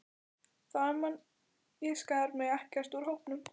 Framan af skar ég mig ekkert úr hópnum.